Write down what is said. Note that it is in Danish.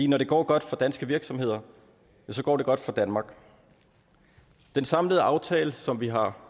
når det går godt for danske virksomheder går det godt for danmark den samlede aftale som vi har